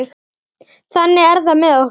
Þannig er það með okkur.